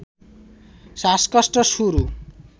শ্বাসকষ্ট শুরু